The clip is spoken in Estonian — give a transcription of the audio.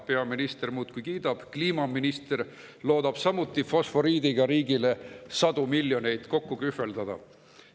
Peaminister muudkui kiidab, kliimaminister loodab samuti fosforiidiga riigile sadu miljoneid kokku kühveldada.